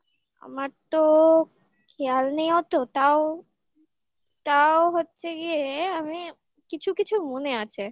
আমার তো খেয়াল নেই অতো তাও তাও হচ্ছে গিয়ে আমি কিছু কিছু মনে আছে